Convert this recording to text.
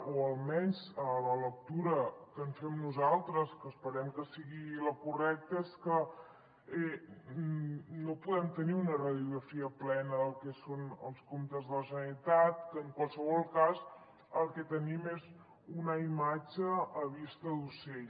o almenys la lectura que en fem nosaltres que esperem que sigui la correcta és que no podem tenir una radiografia plena del que són els comptes de la generalitat que en qualsevol cas el que tenim és una imatge a vista d’ocell